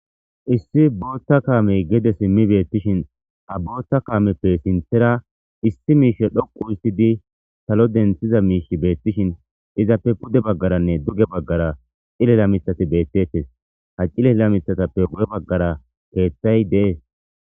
Issi boothta kaamey gede simmi beettishin a boothta kaameppe sinthera issi miishe dhoqu histidi salo denthiza miish beettishin izappe pude baggaranne duge baggara xilela mithati beettettes ha cilela mithatappe wu'e baggara keeththay dees.